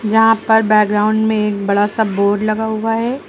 जहां पर बैकग्राउंड में एक बड़ा सा बोर्ड लगा हुआ है।